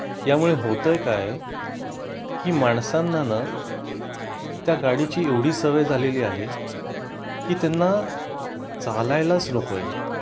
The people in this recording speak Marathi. यामुळे होते काय की माणसांना ना त्या गाडीची एवढी सवय झालेली आहे की त्यांना चालायलाच नकोय